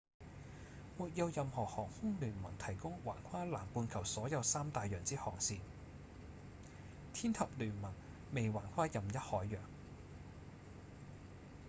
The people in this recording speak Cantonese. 沒有任何航空聯盟提供橫跨南半球所有三大洋之航線天合聯盟未橫跨任一海洋